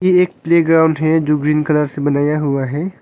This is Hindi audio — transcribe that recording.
एक प्लेग्राउंड है जो ग्रीन कलर से बनाया हुआ है।